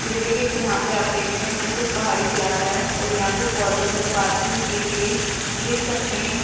टिल्ले के यहां पे आप देखते हैं पीछे पहाड़ी इलाका है और यहां पे फोर व्हीलर पार्किंग की गई है देख सकते हैं।